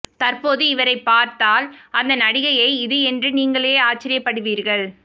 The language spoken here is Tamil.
தற்போது இவரை பார்த்தல் அந்த நடிகையை இது என்று நீங்களே ஆச்சார்யபடுவீர்கள்